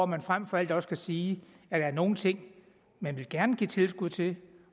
man frem for alt også sige at der er nogle ting man gerne vil give tilskud til